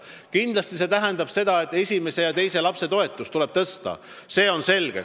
Kindlasti see tähendab seda, et esimese ja teise lapse toetust tuleb suurendada, see on selge.